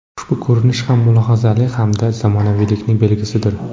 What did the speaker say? Ushbu ko‘rinish ham mulohazali hamda zamonaviylikning belgisidir.